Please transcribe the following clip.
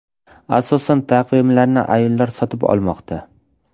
Asosan taqvimlarni ayollar sotib olmoqda.